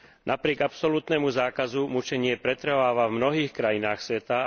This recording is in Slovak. Napriek absolútnemu zákazu mučenie pretrváva v mnohých krajinách sveta